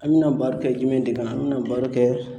An bɛna bar kɛ jumɛn de kan? An bɛ na baro kɛ